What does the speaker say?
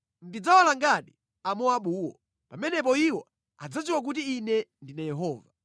Ndidzawalangadi Amowabuwo. Pamenepo iwo adzadziwa kuti Ine ndine Yehova.”